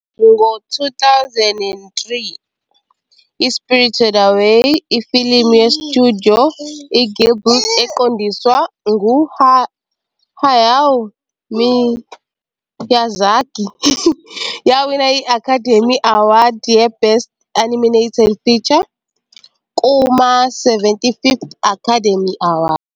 Ngo-2003, i- "Spirited Away", ifilimu ye- Studio Ghibli eqondiswa ngu- Hayao Miyazaki, yawina i- Academy Award ye-Best Animated Feature kuma- 75th Academy Awards.